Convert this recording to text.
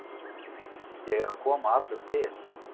Ég er að koma allur til.